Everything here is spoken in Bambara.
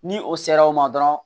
Ni o sera o ma dɔrɔn